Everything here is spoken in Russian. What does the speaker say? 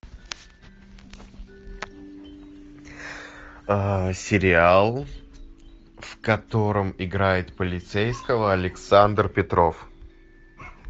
сериал в котором играет полицейского александр петров